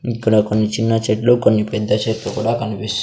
ఇక్కడ కొన్ని చిన్న చెట్లు కొన్ని పెద్ద చెట్లు కూడా కనిపిస్.